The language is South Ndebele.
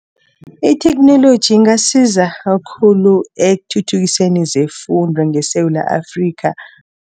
Itheknoloji ingasiza khulu ekuthuthukiseni zefundo ngeSewula Afrikha.